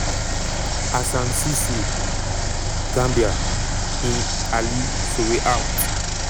assan ceesay (gambia) in ali sowe out.